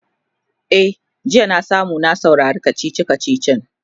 e jiya na samu na saurari kachichi kachichin